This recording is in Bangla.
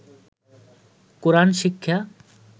কোরআন শিক্ষা